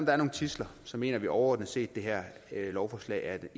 er nogle tidsler mener vi overordnet set at det her lovforslag